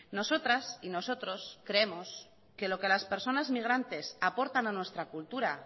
nosotras y nosotros creemos que lo que las personas migrantes aportan a nuestra cultura